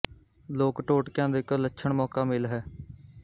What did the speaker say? ਲੋਕ ਟੋਟਕਿਆਂ ਦਾ ਇਕ ਲੱਛਣ ਮੌਕਾ ਮੇਲ ਹੈ